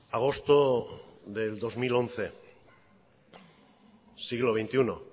agosto del dos mil once siglo veintiuno